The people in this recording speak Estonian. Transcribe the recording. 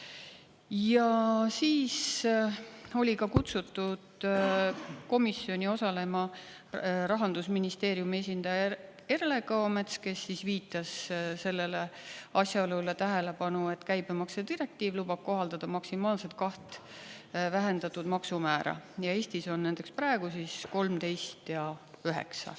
Ja siis oli ka kutsutud komisjoni osalema Rahandusministeeriumi esindaja Erle Kõomets, kes viitas sellele asjaolule tähelepanu, et käibemaksu direktiiv lubab kohaldada maksimaalselt kaht vähendatud maksumäära, ja Eestis on näiteks praegu 13 ja üheksa.